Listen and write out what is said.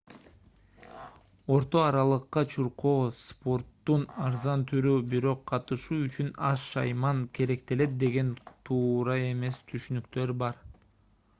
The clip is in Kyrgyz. орто аралыкка чуркоо спорттун арзан түрү бирок катышуу үчүн аз шайман керектелет деген туура эмес түшүнүктөр бар